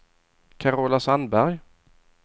Carola Sandberg